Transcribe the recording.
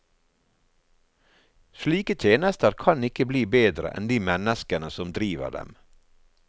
Slike tjenester kan ikke bli bedre enn de menneskene som driver dem.